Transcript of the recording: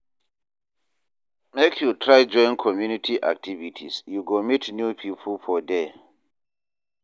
Make you try join community activities, you go meet new pipo for there.